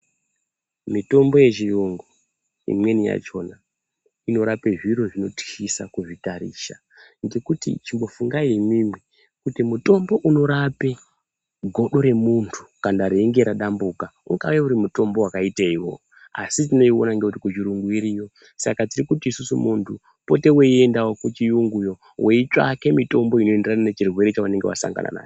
Mitombo yechiyungu imweni yachona inorape zviro zvinotyisa kuzvitarisa ngekuti chimbofungai imwomwo kuti mutombo unorape good remuntu kana rinenge radambuka, I gave uri mutombo wakaiteiwo asi tinoiona ngekuti kuchirungu iriyo. Saka tirimuti muntu pota weiendawo kuchiyungu iyoyo weitsvake mutombo inoenderana nechirwere chaunenge wasangana nacho.